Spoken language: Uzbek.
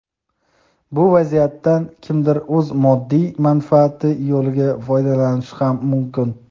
Bu vaziyatdan kimdir o‘z moddiy manfaati yo‘lida foydalanishi ham mumkin.